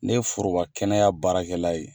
Ne foroba kɛnɛya baarakɛla ye.